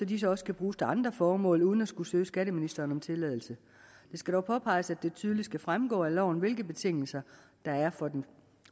disse også kan bruges til andre formål uden at skulle søge skatteministeren om tilladelse det skal dog påpeges at det tydeligt skal fremgå af loven hvilke betingelser der er for den